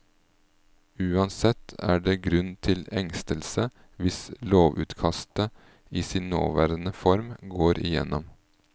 Uansett er det grunn til engstelse hvis lovutkastet, i sin nåværende form, går igjennom.